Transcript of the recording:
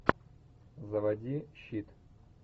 заводи щит